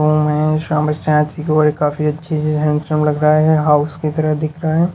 काफी अच्छी है हैंडसम लग रहा है हाउस की तरह दिख रहा है।